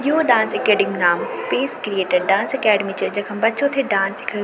यु dance academy नाम peace created dance academy च जखम बच्चों थे डांस की।